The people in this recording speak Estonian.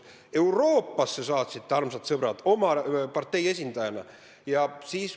Euroopasse saatsite ta, armsad sõbrad, oma partei esindajana.